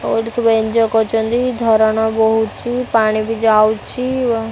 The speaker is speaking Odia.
ଓ ଏଠି ସବୁ ଏଞ୍ଜୟେ କରୁଛନ୍ତି ଝରଣା ବୋହୁଛି ପାଣି ବି ଯାଉଛି।